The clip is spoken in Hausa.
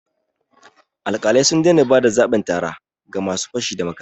Alƙalai sun daina ba da zabin tara ga ma su fashi da makami